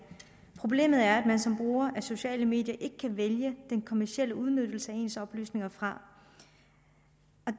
problemet er at man som bruger af sociale medier ikke kan vælge den kommercielle udnyttelse af ens oplysninger fra